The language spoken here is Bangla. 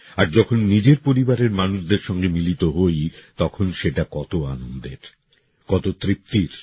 আর যখন নিজের পরিবারের মানুষদের সঙ্গে মিলিত হই তখন সেটা কত আনন্দের কত তৃপ্তির